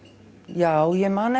já ég man